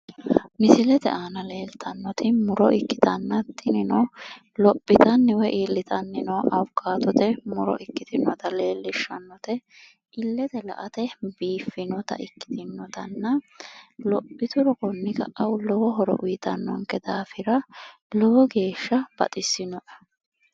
Misilete aana leeltannoti muro ikkitanna, tinino lophitanni woy iillitanni baattote muro ikkitinota leellishshannote, illete la"ate biifiannota ikkitinotanna lophituro konni ka" a lowo hoto uytannonketa daafira lowo geeshsha baxissinoe.